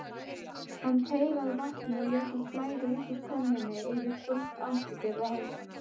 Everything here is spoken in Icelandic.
Hann teygaði vatnið og lét það flæða út úr könnunni yfir brúnt andlitið og hálsinn.